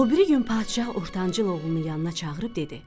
O biri gün padşah ortancıl oğlunu yanına çağırıb dedi: